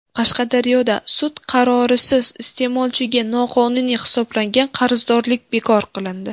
Qashqadaryoda sud qarorisiz iste’molchiga noqonuniy hisoblangan qarzdorlik bekor qilindi.